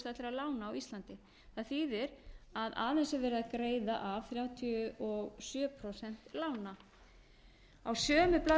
lána á íslandi það þýðir að aðeins er verið að greiða af þrjátíu og sjö prósent lána á